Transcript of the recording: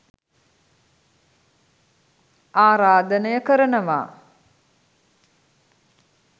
ආරාධනය කරනවා